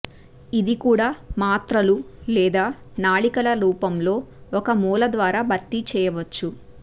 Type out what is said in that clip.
ఇది కూడా మాత్రలు లేదా నాళికల రూపంలో ఒక మూల ద్వారా భర్తీ చేయవచ్చు